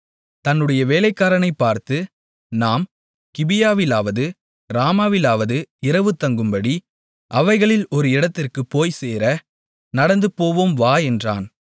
தன்னுடைய வேலைக்காரனைப் பார்த்து நாம் கிபியாவிலாவது ராமாவிலாவது இரவு தங்கும்படி அவைகளில் ஒரு இடத்திற்குப் போய்ச்சேர நடந்துபோவோம் வா என்றான்